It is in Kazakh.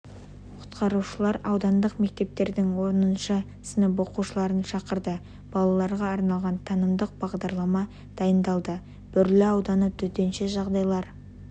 құтқарушылар аудандық мектептердің оныншы сынып оқушыларын шақырды балаларға арналған танымдық бағдарлама дайындалды бөрлі ауданы төтенше жағдайлар